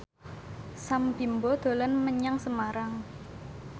Sam Bimbo dolan menyang Semarang